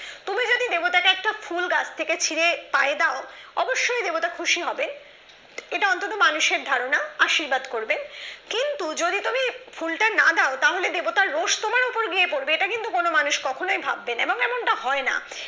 কুল গাছ থেকে ছিড়ে পায়ে দাও অবশ্যই দেবতা খুশি হবেন এটা অন্তত মানুষের ধারণা আশীর্বাদ করবে কিন্তু যদি তুমি ফুলটা না দাও তাহলে দেবতা রোশ গিয়ে তোমার উপর পড়বে এটা কিন্তু মানুষ কখনো ভাববে না এবং এটা হয় না